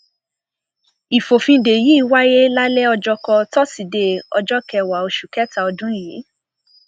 ìfòfindè yìí wáyé lálẹ ọjọkọ tóṣìdẹẹ ọjọ kẹwàá oṣù kẹta ọdún yìí